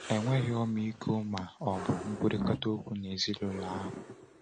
Enweghị ọmịiko ma ọ bụ nkwurịta okwu n’ezinụlọ ahụ.